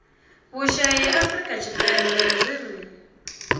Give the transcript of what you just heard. vhushai afurika tshipembe zwi ri